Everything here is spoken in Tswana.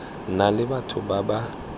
na le batho ba ba